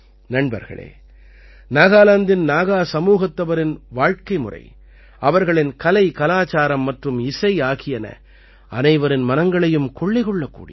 நண்பர்களே நாகாலாந்தின் நாகா சமூகத்தவரின் வாழ்க்கைமுறை அவர்களின் கலைகலாச்சாரம் மற்றும் இசை ஆகியன அனைவர் மனங்களையும் கொள்ளை கொள்ளக்கூடியவை